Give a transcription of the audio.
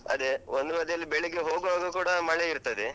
ಅದೆ, ಒಂದು ಬದಿಯಲ್ಲಿ ಬೆಳಿಗ್ಗೆ ಹೋಗ್ವಾಗ ಕೂಡಾ ಮಳೆ ಇರ್ತದೆ.